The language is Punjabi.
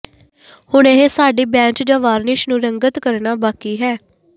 ਹੁਣ ਇਹ ਸਾਡੀ ਬੈਂਚ ਜਾਂ ਵਾਰਨਿਸ਼ ਨੂੰ ਰੰਗਤ ਕਰਨਾ ਬਾਕੀ ਹੈ